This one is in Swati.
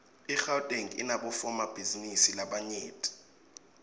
igauteng inabofomabhizinisi labanyent